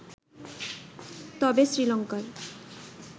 তবে শ্রীলংকার